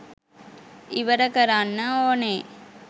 ඉවර කරන්න ඕනේ.